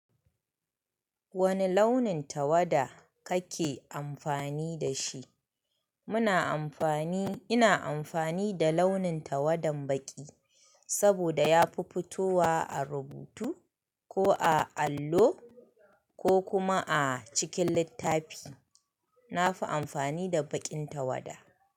Wani launin tawada kake amfani da shi? Muna amfani, ina amfani da launin tawadan baƙi, saboda yafi fitowa a rubutu ko a allo ko kuma a cikin littafi. Na fi amfani da baƙin tawada.